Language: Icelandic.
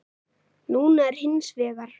Núna er hins vegar.